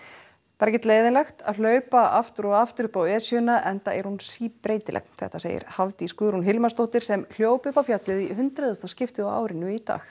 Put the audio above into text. er ekkert leiðinlegt að hlaupa aftur og aftur upp á Esjuna enda er hún síbreytileg þetta segir Hafdís Guðrún Hilmarsdóttir sem hljóp upp á fjallið í hundraðasta skipti á árinu í dag